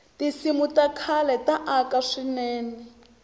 tinsimu ta khale ta aka swinene